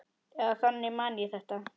Eða þannig man ég þetta.